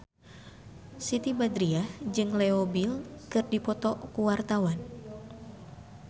Siti Badriah jeung Leo Bill keur dipoto ku wartawan